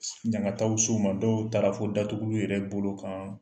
Ɲangataw s'u ma dɔw taara fo datuguliw yɛrɛ bolo kan